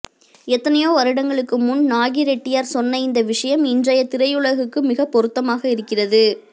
எத்தனையோ வருடங்களுக்கு முன் நாகிரெட்டியார் சொன்ன இந்த விஷயம் இன்றைய திரையுலகுக்கு மிகப்பொருத்தமாக இருக்கிறது